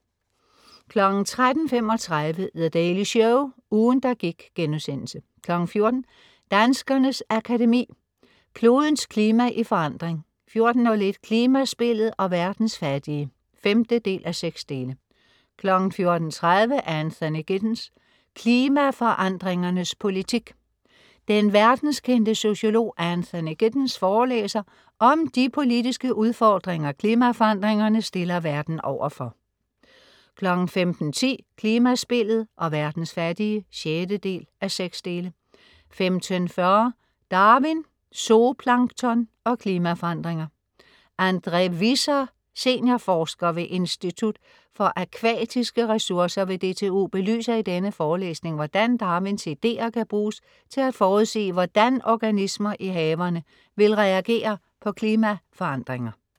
13.35 The Daily Show, ugen der gik* 14.00 Danskernes Akademi. Klodens klima i forandring 14.01 Klimaspillet og verdens fattige 5:6 14.30 Anthony Giddens: Klimaforandringernes politik. Den verdenskendte sociolog Anthony Giddens forelæser om de politiske udfordringer, klimaforandringerne stiller verden overfor 15.10 Klimaspillet og verdens fattige 6:6 15.40 Darwin, zooplankton og klimaforandringer. André Visser, seniorforsker ved Institut for Akvatiske Ressourcer ved DTU belyser i denne forelæsning, hvordan Darwins ideer kan bruges til at forudsige, hvordan organismer i havene vil reagere på klimaforandringer